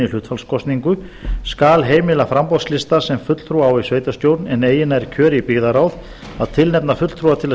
hlutfallskosningu skal heimila framboðslista sem fulltrúa á í sveitarstjórn en eigi nær kjöri í byggðarráð að tilnefna fulltrúa til að